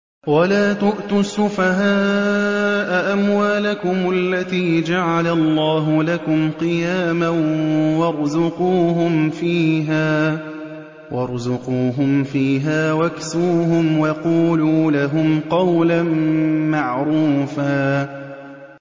وَلَا تُؤْتُوا السُّفَهَاءَ أَمْوَالَكُمُ الَّتِي جَعَلَ اللَّهُ لَكُمْ قِيَامًا وَارْزُقُوهُمْ فِيهَا وَاكْسُوهُمْ وَقُولُوا لَهُمْ قَوْلًا مَّعْرُوفًا